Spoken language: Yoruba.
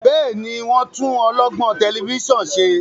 Béèni wón tún olọgbọn Tẹlifíṣàn ṣe?